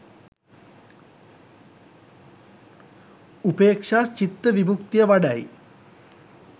උපේක්ෂා චිත්ත විමුක්තිය වඩයි